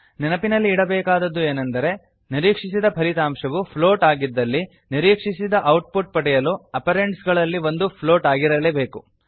ನೆನಪಿನಲ್ಲಿಡಬೇಕಾದುದು ಏನೆಂದರೆ ನಿರೀಕ್ಷಿಸಿದ ಫಲಿತಾಂಶವು ಫ್ಲೋಟ್ ಪ್ಲೋಟ್ ಆಗಿದ್ದಲ್ಲಿ ನಿರೀಕ್ಷಿಸಿದ ಔಟ್ ಪುಟ್ ಪಡೆಯಲು ಅಪರೆಂಡ್ಸ್ ಗಳಲ್ಲಿ ಒಂದು ಫ್ಲೋಟ್ ಪ್ಲೋಟ್ ಆಗಿರಲೇಬೇಕು